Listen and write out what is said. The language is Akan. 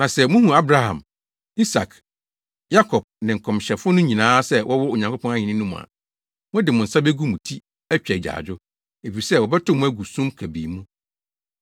“Na sɛ muhu Abraham, Isak, Yakob ne nkɔmhyɛfo no nyinaa sɛ wɔwɔ Onyankopɔn ahenni no mu a, mode mo nsa begu mo ti atwa agyaadwo, efisɛ wɔbɛtow mo agu sum kabii mu.